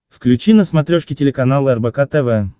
включи на смотрешке телеканал рбк тв